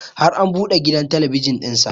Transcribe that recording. Har an buɗe gidan talabijin ɗin sa